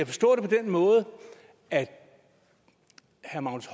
forstå det på den måde at herre magnus